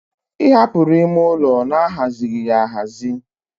Ị hapụrụ ime ụlọ na-aghazighi ya aghazi